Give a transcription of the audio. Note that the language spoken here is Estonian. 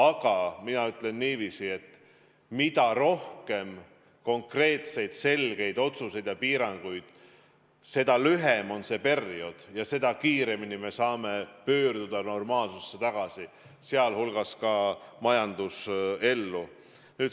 Aga mina ütlen niiviisi, et mida rohkem konkreetseid selgeid otsuseid ja piiranguid, seda lühem on see periood ja seda kiiremini me saame pöörduda normaalsusesse tagasi, sealhulgas majandusellu.